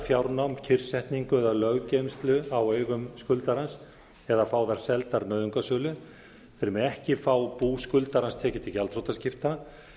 fjárnám kyrrsetningu eða löggeymslu á eigum skuldarans eða fá þær seldar nauðungarsölu þeir mega ekki fá bú skuldarans tekið til gjaldþrotaskipta